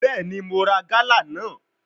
Bẹẹni, Mo ra gala naa